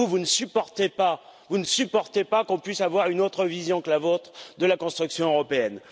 Vous, vous ne supportez pas, vous ne supportez pas qu'on puisse avoir une autre vision que la vôtre de la construction européenne.